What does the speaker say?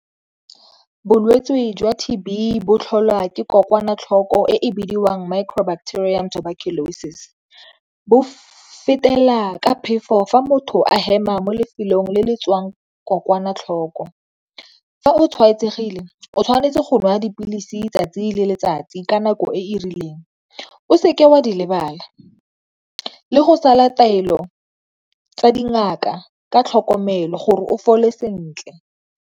Bolwetse jwa T_B botlholwa ke kokwatlhoko e bidiwang micro-bacterium tuberculosis bo fetela ka phefo fa motho a hema mo lefelong le le tswang kokwanatlhoko, fa o tshwaetsegile o tshwanetse go nwa dipilisi 'tsatsi le letsatsi ka nako e e rileng o seke wa di lebala le go sala taelo tsa dingaka ka tlhokomelo gore o fole sentle.